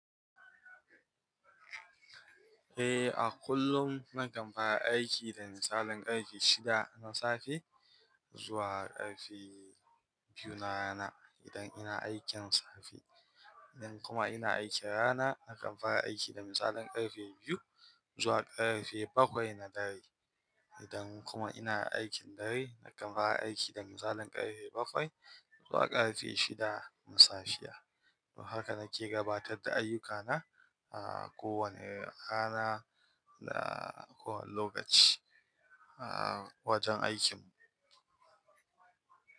Eh, a kullum nakan fara aiki da misalin ƙarfe shida na safe zuwa ƙarfe biyu na rana idan ina aikin safe. Idan kuma ina aikin rana, nakan fara aiki da misalin ƙarfe biyu zuwa ƙarfe bakwai na dare. Idan kuma ina aikin dare, nakan fara aiki da misalin ƙarfe bakwai zuwa ƙarfe shida na safe. Haka nake gabatar da ayyukana, ah, kowane rana da kowane lokaci, ah, wajen aikinmu.